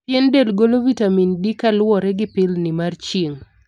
Pien del golo vitamin D kaluwore gi pilni mar chirng'.